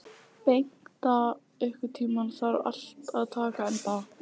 Bengta, einhvern tímann þarf allt að taka enda.